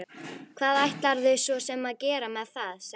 Hvað ætlarðu svo sem að gera með það, sagði hún.